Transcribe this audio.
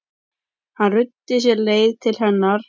Hann ruddi sér leið til hennar.